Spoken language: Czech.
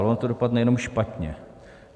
A ono to dopadne jenom špatně.